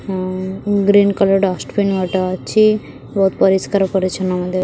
ହଁ green colour dustbin ଗୋଟେ ଅଛି ବହୁତ ପରିଷ୍କାର ପରିଚ୍ଛନ୍ନ ମଧ୍ଯ --